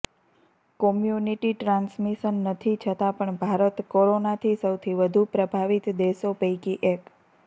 community transmission નથી છતા પણ ભારત કોરોનાથી સૌથી વધુ પ્રભાવિત દેશો પૈકી એક